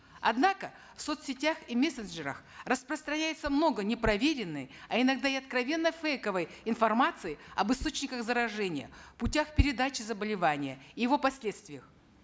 однако в соцсетях и мессенджерах распространяется много непроверенной а иногда и откровенно фейковой информации об источниках заражения путях передачи заболевания его последствиях